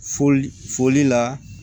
Foli foli la